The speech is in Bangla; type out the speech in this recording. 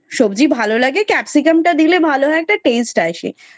সব্জি ভালো লাগে capsicam টা দিলে ভালো হয় একটু taste আসে